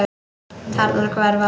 Tærnar hverfa.